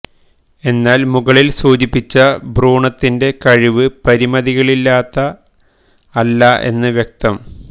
എന്നാൽ മുകളിൽ സൂചിപ്പിച്ച ഭ്രൂണത്തിന്റെ കഴിവ് പരിമിതികളില്ലാത്ത അല്ല എന്ന് വ്യക്തം